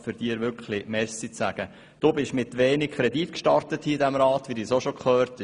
Du bist, wie wir gehört haben, mit wenig Kredit hier in diesem Rat in dein Amt gestartet.